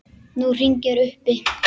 Nú hringir uppi.